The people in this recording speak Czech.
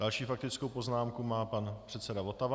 Další faktickou poznámku má pan předseda Votava.